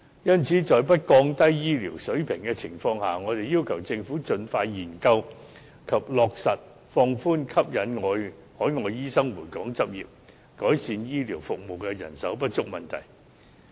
因此，在不降低醫療水平的情況下，我們要求政府盡快研究及落實放寬和吸引海外醫生回港執業，改善醫療服務的人手不足問題。